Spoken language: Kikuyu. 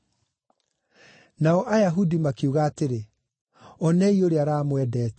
Nao Ayahudi makiuga atĩrĩ, “Onei ũrĩa aramwendete!”